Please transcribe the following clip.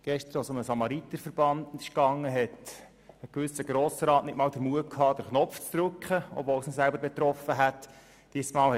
Gestern, als es um den Samariterverband ging, hatte ein gewisser Grossrat nicht einmal den Mut, den Abstimmungsknopf zu drücken, obwohl er selber betroffen gewesen wäre.